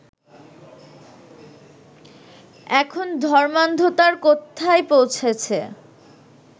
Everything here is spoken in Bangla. এখন ধর্মান্ধতার কোথায় পৌঁছেছে